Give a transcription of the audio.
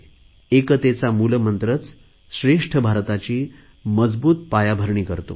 एकतेचा मूलमंत्रच श्रेष्ठ भारताची मजबूत पायाभरणी करतो